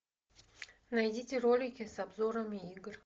найдите ролики с обзорами игр